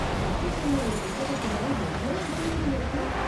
கற்றுக்கொள்ள ஒரு புத்தகத்துல எவ்ளோ விஷயங்கள் இருக்கு.